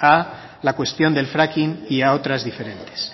a la cuestión del fracking y a otras diferentes